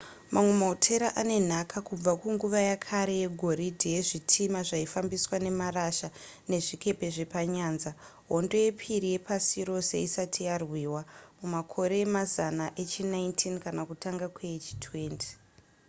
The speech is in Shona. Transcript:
mamwe mahotera ane nhaka kubva kunguva yekare yegoridhe yezvitima zvaifambiswa nemarasha nezvikepe zvepanyanza hondo yepiri yepasi rose isati yarwiwa mumakore emazana echi19 kana kutanga kweechi20